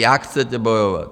Jak chcete bojovat?